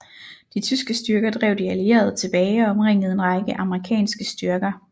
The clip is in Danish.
De tyske styrker drev de allierede tilbage og omringede en række amerikanske styrker